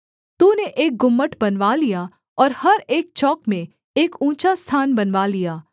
तूने एक गुम्मट बनवा लिया और हर एक चौक में एक ऊँचा स्थान बनवा लिया